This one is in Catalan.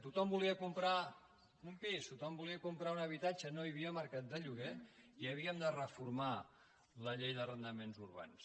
tothom volia comprar un pis tothom volia comprar un habitatge no hi havia mercat de lloguer i havíem de reformar la llei d’arrendaments urbans